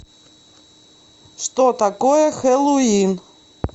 что такое хэллоуин